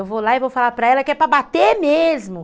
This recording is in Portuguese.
Eu vou lá e vou falar para ela que é para bater mesmo.